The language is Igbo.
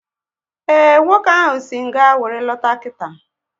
Ee, nwoke ahụ si nga wéré lọta kita